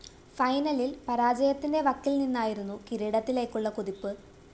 ഫൈനലില്‍ പരാജയത്തിന്റെ വക്കില്‍ നിന്നായിരുന്നു കിരീടത്തിലേക്കുള്ള കുതിപ്പ്